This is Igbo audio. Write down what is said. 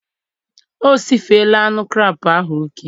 O sifela anụ krab ahụ oke